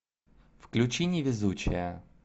включи невезучая